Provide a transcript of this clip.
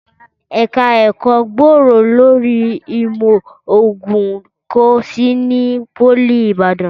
Ẹ̀ka ẹ̀kọ́ gbòòrò lórí ìmọ̀ ògùn kò sí ní Pólì Ìbàdàn